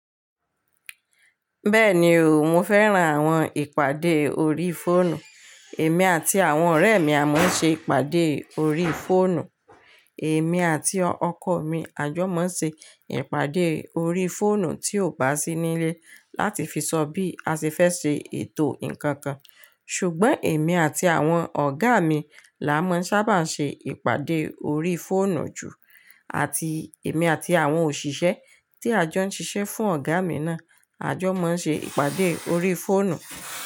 Bẹ́ẹ̀ni o, mo fẹ́ran àwọn ìpàdé orí fóònù. Èmi àti àwọn ọ̀rẹ́ mi a máa ń ṣe ìpàdé orí fóònù. Èmi àti ọkọ mi a jọ máa ń ṣe ìpàdé orí fóònù tí ò bá sí nílé láti fi sọ bí a ṣe fẹ́ ṣe ètò ǹkan kan. Ṣùgbọ́n èmi àti àwọn ọ̀gá mi la máa ń sábà ṣe ìpàdé orí fóònù jù. Àti èmi àti àwọn òṣìṣẹ́ tí a jọ ń ṣiṣẹ́ fún ọ̀gá mi náà, a jọ máa ń ṣe ìpàdé orí fóònù.